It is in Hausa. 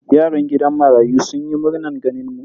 Yaran gidan marayun sun yi murnan ganin mu.